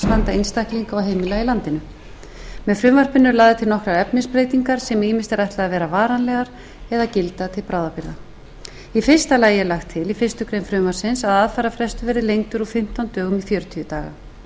einstaklinga og heimila í landinu með frumvarpinu eru lagðar til nokkrar efnisbreytingar sem ýmist eru ætlað að vera varanlegar eða gilda til bráðabirgða í fyrsta lagi er lagt til í fyrstu grein frumvarpsins að aðfararfrestur verði lengdur úr fimmtán dögum í fjörutíu daga á þessi aukni frestur